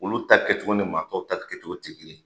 Olu ta kɛcogo ni maa tɔw ta kɛcogo tɛ kelen ye!